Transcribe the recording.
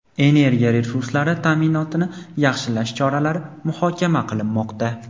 energiya resurslari ta’minotini yaxshilash choralari muhokama qilinmoqda.